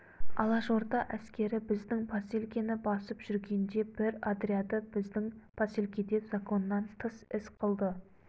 алашорда әскері біздің поселкені басып жүргенде бір отряды біздің поселкеде законнан тыс іс қылды